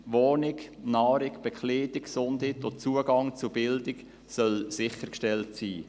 Wohnung, Nahrung, Bekleidung, Gesundheit und Zugang zu Bildung sollen sichergestellt sein.